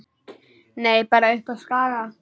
Nei, bara uppi á Skaga.